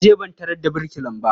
Na je ban tarar da birkilan ba.